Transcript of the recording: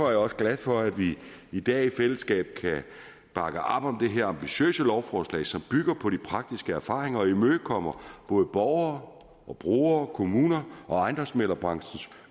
jeg også glad for at vi i dag i fællesskab kan bakke op om det her ambitiøse lovforslag som bygger på de praktiske erfaringer og imødekommer både borgere brugere kommuner og ejendomsmæglerbranchens